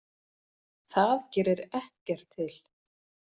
Það gerir ekkert til.